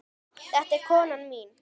Þetta er konan mín!